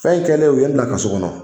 Fɛn in kɛlen o ye bila ka so kɔnɔ